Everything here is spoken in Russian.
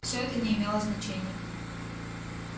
всё это не имело значения